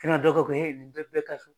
Kana dɔ kɛ ko bɛ bɛ ka so